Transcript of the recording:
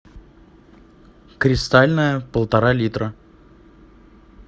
кристальная полтора литра